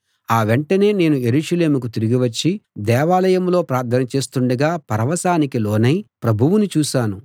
ఆ వెంటనే నేను యెరూషలేముకు తిరిగి వచ్చి దేవాలయంలో ప్రార్థన చేస్తుండగా పరవశానికి లోనై ప్రభువుని చూశాను